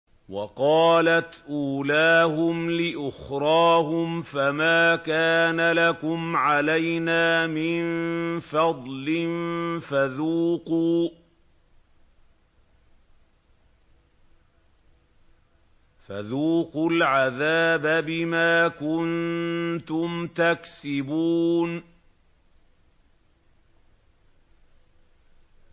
وَقَالَتْ أُولَاهُمْ لِأُخْرَاهُمْ فَمَا كَانَ لَكُمْ عَلَيْنَا مِن فَضْلٍ فَذُوقُوا الْعَذَابَ بِمَا كُنتُمْ تَكْسِبُونَ